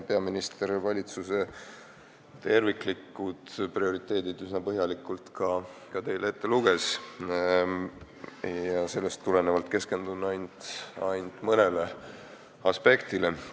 Peaminister luges valitsuse prioriteedid meile üsna põhjalikult ette, sellest tulenevalt keskendun ainult mõnele aspektile.